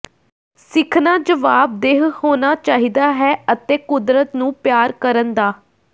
ਸਿੱਖਣਾ ਜਵਾਬਦੇਹ ਹੋਣਾ ਚਾਹੀਦਾ ਹੈ ਅਤੇ ਕੁਦਰਤ ਨੂੰ ਪਿਆਰ ਕਰਨ ਦਾ